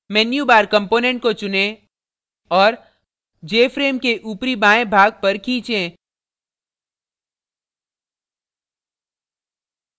menu bar component को चुनें और jframe के ऊपरी बायें भाग पर खीचें